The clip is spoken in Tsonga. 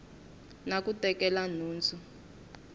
na ku tekela nhundzu hi